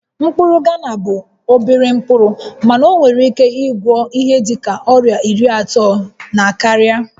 Mkpụrụ Ghana bụ obere mkpụrụ mana ọ nwere ike ịgwọ ihe dịka ọrịa iri atọ na karịa